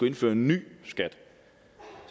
indføre en ny skat